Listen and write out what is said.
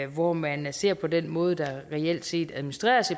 hvor man ser på den måde der reelt set administreres